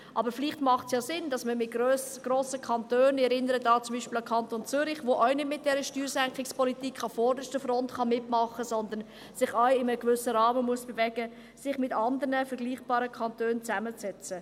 Aber vielleicht macht es ja Sinn, dass man sich mit anderen grossen Kantonen zusammensetzt – ich erinnere da zum Beispiel an den Kanton Zürich, der mit dieser Steuersenkungspolitik auch nicht an vorderster Front mitmachen kann, sondern sich auch in einem gewissen Rahmen bewegen muss.